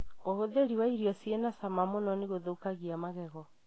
ũhuthiri wa irio cĩi na cama mũno nĩgũthukagia magego.